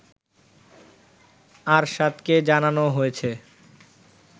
আরশাদকে জানানো হয়েছে